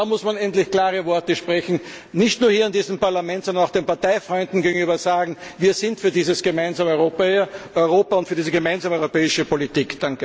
Da muss man endlich klare Worte sprechen, nicht nur hier in diesem Parlament, sondern auch den Parteifreunden gegenüber Wir sind für dieses gemeinsame Europa und für diese gemeinsame europäische Politik.